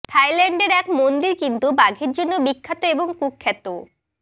থাইল্যান্ডের এক মন্দির কিন্তু বাঘের জন্য বিখ্যাত এবং কুখ্যাতও